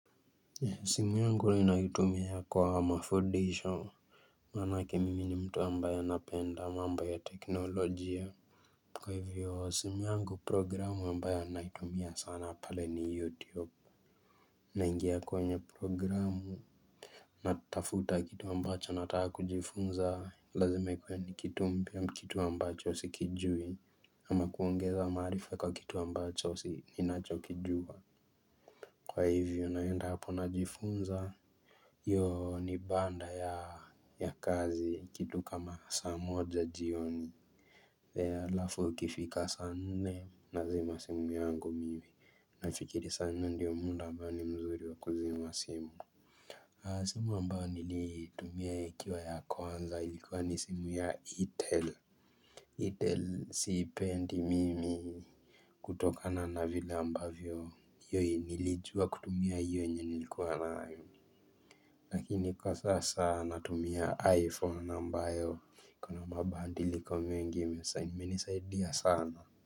Simu yangu ninaitumia kwa mafudisho Maanake mimi ni mtu ambaye napenda mambo ya teknolojia. Kwa hivyo simu yangu programu ambayo naitumia sana pale ni youtube. Naingia kwenye programu natafuta kitu ambacho nataka kujifunza. Lazima ikuwe ni kitu mpya ama kitu ambacho sikijui. Ama kuongeza maarifa kwa kitu ambacho ninachokijua. Kwa hivyo naenda hapo najifunza, hiyo ni baada ya kazi kitu kama saa moja jioni. Halafu ikifika saa nne nazima simu yangu mimi. Nafikiri sanne ndio muda ambao ni mzuri wa kuzima simu. Simu ambayo niliitumia ikiwa ya kwanza ilikuwa ni simu ya Eitel Eitel siipendi mimi kutokana na vile ambavyo hiyo nilijua kutumia hiyo yenye nilikuwa nayo. Lakini kwa sasa natumia iPhone ambayo kuna mabadiliko mengi imenisaidia sana.